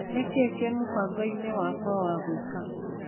Nĩkĩĩ kĩ mũbango-inĩ wakwa wa gwĩka.